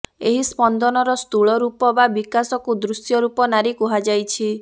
ଏହି ସ୍ପନ୍ଦନର ସ୍ଥୁଳ ରୂପ ବା ବିକାଶକୁ ଦୃଶ୍ୟରୂପ ନାରୀ କୁହାଯାଇଛି